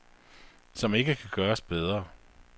Som ikke kan gøres bedre.